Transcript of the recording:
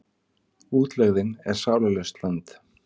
Útlegðin er sálarlaust land.